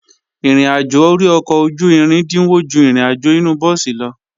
Ìrìnàjò ori ọkọ̀ ojú-irin dínwó ju ìrìnàjò inu búùsì lọ